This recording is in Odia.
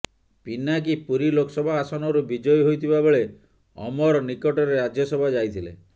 ପିନାକୀ ପୁରୀ ଲୋକସଭା ଆସନରୁ ବିଜୟୀ ହୋଇଥିବା ବେଳେ ଅମର ନିକଟରେ ରାଜ୍ୟସଭା ଯାଇଥିଲେ